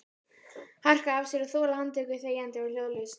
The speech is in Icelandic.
Harka af sér og þola handtöku þegjandi og hljóðalaust?